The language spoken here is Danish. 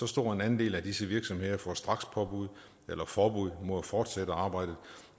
stor andel af disse virksomheder får strakspåbud eller forbud mod at fortsætte arbejdet